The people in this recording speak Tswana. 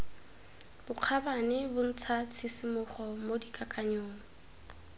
bokgabane bontsha tshisimogo mo dikakanyong